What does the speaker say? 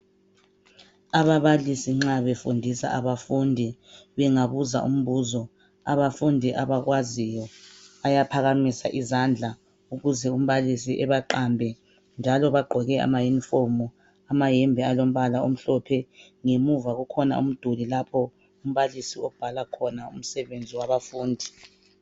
Ababalisi nxa befundisa abafundi bengabuza umbuzo abafundi abakwaziyo bayaphakamisa izandla ukuze umbalisi ebaqambe njalo bagqoke amayunifomu amayembe alombala omhlophe. Ngemuva kukhona umduli lapho umbalisi obhala khona umsebenzi wabafundi.